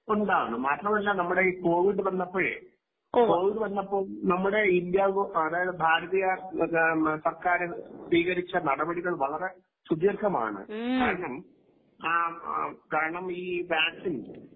ഉണ്ടാകും മാത്രമല്ല നമ്മുടെ ഈ കോവിഡ് വന്നപ്പോഴേ കോവിഡ് വന്നപ്പോൾ നമ്മുടെ ഇന്ത്യ അതായത് ഭാരതീയ സർക്കാർ സ്വീകരിച്ച നടപടികൾ വളരെ സുധീർഖമാണ് കാരണംകാരണം ഈ വാക്സിൻ.